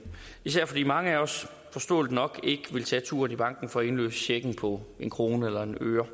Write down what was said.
især fordi mange af os forståeligt nok ikke vil tage turen i banken for at indløse checken på en krone eller en øre